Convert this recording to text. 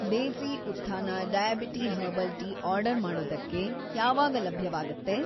ದೇಸಿ Utthana diabetes herbal tea order ಮಾಡೋದಕ್ಕೆ ಯಾವಾಗ‌ ಲಭ್ಯವಾಗತ್ತೆ?